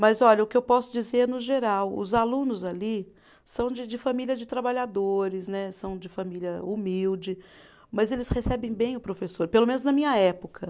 Mas, olha, o que eu posso dizer é, no geral, os alunos ali são de de família de trabalhadores né, são de família humilde, mas eles recebem bem o professor, pelo menos na minha época.